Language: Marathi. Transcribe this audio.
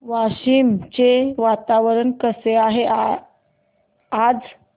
वाशिम चे वातावरण कसे आहे आज